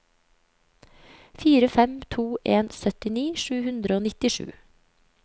fire fem to en syttini sju hundre og nittisju